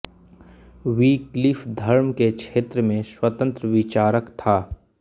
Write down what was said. Wycliffe धर्म के क्षेत्र में स्वतंत्र विचारक था